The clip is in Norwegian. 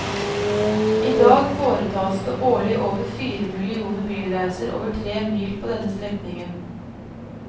I dag foretas det årlig over fire millioner bilreiser over tre mil på denne strekningen.